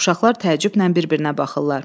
Uşaqlar təəccüblə bir-birinə baxırlar.